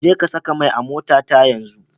Jeka saka mai a motata yanzu.